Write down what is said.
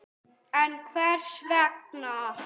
En Hvers vegna?